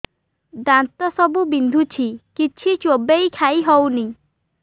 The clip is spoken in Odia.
ଦାନ୍ତ ସବୁ ବିନ୍ଧୁଛି କିଛି ଚୋବେଇ ଖାଇ ହଉନି